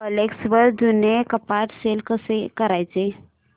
OLX वर जुनं कपाट सेल कसं करायचं